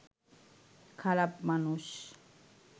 খারাপ মানুষ